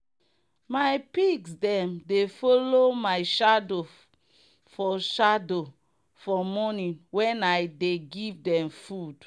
my pigs them dey follow my shadow for shadow for morning when i dey give them food.